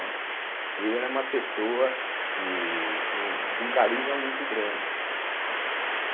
Né. Ele era uma pessoa que sim de um carisma muito grande, né.